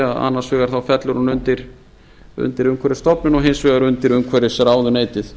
að annars vegar fellur hún undir umhverfisstofnun og hins vegar undir umhverfisráðuneytið